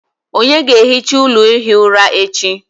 Ònye ga-ehicha ụlọ ihi ụra echi?